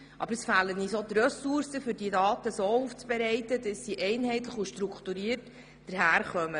Aber es fehlen uns auch die Ressourcen, um die Daten einheitlich und strukturiert aufzubereiten.